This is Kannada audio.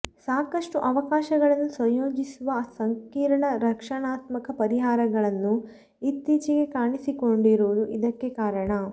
ಸಾಕಷ್ಟು ಅವಕಾಶಗಳನ್ನು ಸಂಯೋಜಿಸುವ ಸಂಕೀರ್ಣ ರಕ್ಷಣಾತ್ಮಕ ಪರಿಹಾರಗಳನ್ನು ಇತ್ತೀಚೆಗೆ ಕಾಣಿಸಿಕೊಂಡಿರುವುದು ಇದಕ್ಕೆ ಕಾರಣ